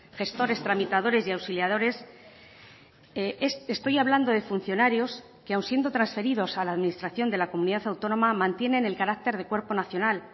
gestores tramitadores y auxiliadores estoy hablando de funcionarios que aun siendo transferidos a la administración de la comunidad autónoma mantienen el carácter de cuerpo nacional